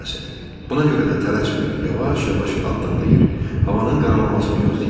Buna görə də tələsmirdi, yavaş-yavaş addımlayırdı, havanın qaralamasını gözləyirdi.